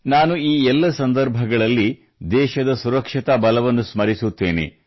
ನಾನು ಈ ಎಲ್ಲ ಸಂದರ್ಭಗಳಲ್ಲಿ ದೇಶದ ಸುರಕ್ಷತಾ ಬಲವನ್ನು ಸ್ಮರಿಸುತ್ತೇನೆ